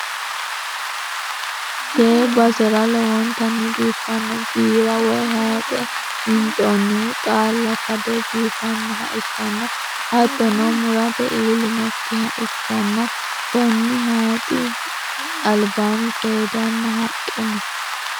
tee basera lowontanni biifanno biira woy hayiixe winxoonnihu xaalla kade biifinoha ikkanna, hattono murate illinokkiha ikkanna, konni hayiixi albaanni seeddanna haqqe no.